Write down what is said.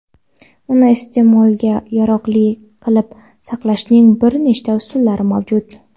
uni iste’molga yaroqli qilib saqlashning bir nechta usullari mavjud:.